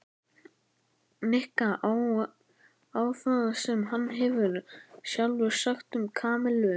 Nikka á það sem hann hafði sjálfur sagt um Kamillu.